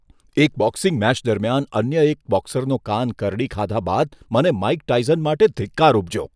એક boxing match દરમિયાન અન્ય એક બોક્સરનો કાન કરડી ખાધા બાદ મને માઇક ટાયસન માટે ધિક્કાર ઉપજ્યો.